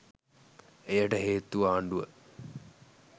එයට හේතුව ආණ්ඩුව